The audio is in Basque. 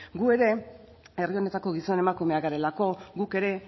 gu ere herri honetako gizon emakumeak garelako guk ere